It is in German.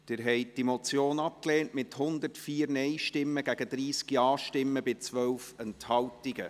Sie haben diese Motion abgelehnt, mit 104 Nein- gegen 30 Ja-Stimmen bei 12 Enthaltungen.